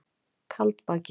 Kaldbaki